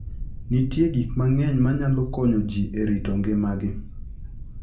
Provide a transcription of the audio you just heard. Nitie gik mang'eny manyalo konyo ji e rito ngimagi.